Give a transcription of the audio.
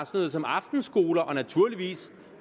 noget som aftenskoler og naturligvis